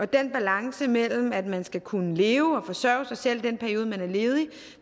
balancen imellem at man skal kunne leve og forsørge sig selv i den periode man er ledig